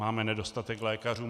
Máme nedostatek lékařů.